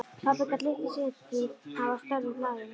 Pabbi gat litlu sinnt því að hann var störfum hlaðinn.